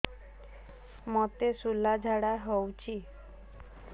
ମୋତେ ଶୂଳା ଝାଡ଼ା ହଉଚି